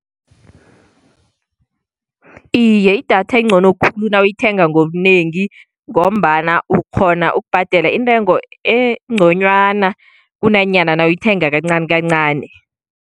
Iye, idatha incono khulu nawuyithenga ngobunengi, ngombana ukghona ukubhadela intengo enconywana, kunanyana nawuyithenga kancani kancani.